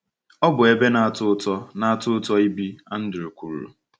“ Ọ bụ ebe na-atọ ụtọ na-atọ ụtọ ibi, ” Andrew kwuru.